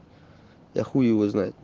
я хуй его знает